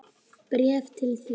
Bréf til þín.